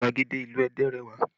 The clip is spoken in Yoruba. Gbàgede ìlú Ẹdẹ rẹwà